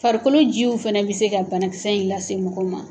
Farikolo jiw fɛnɛ bɛ se ka banakisɛ in lase mɔgɔ ma.